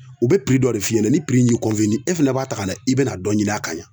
U bɛ dɔ de f'i ɲɛna ni y'i e fana b'a ta ka na i be na dɔ ɲini a kan yan.